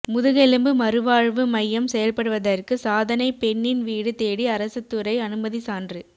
முதுகெலும்பு மறுவாழ்வு மையம் செயல்படுவதற்கு சாதனைப் பெண்ணின் வீடு தேடி அரசுத்துறை அனுமதி சான்று